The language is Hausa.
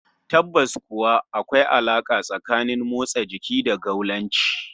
Tabbas kuwa, akwai alaka tsakanin rashin motsa jiki da gaulanci